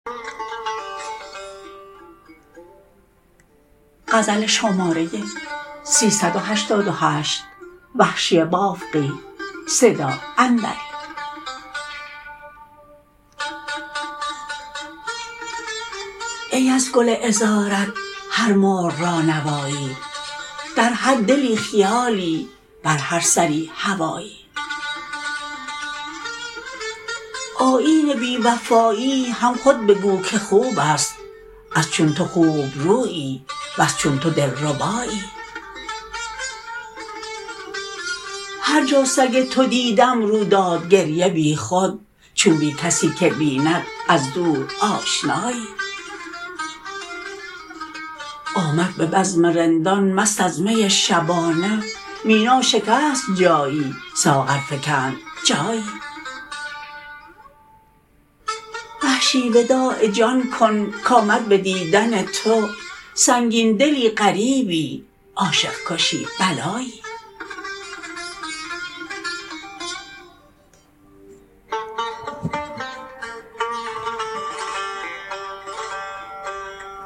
ای از گل عذرات هر مرغ را نوایی در هر دلی خیالی بر هر سری هوایی آیین بی وفایی هم خود بگو که خوب است از چون تو خوبرویی و ز چون تو دلربایی هر جا سگ تو دیدم رو داد گریه بیخود چون بی کسی که بیند از دورآشنایی آمد به بزم رندان مست از می شبانه مینا شکست جایی ساغر فکند جایی وحشی وداع جان کن کامد به دیدن تو سنگین دلی غریبی عاشق کشی بلایی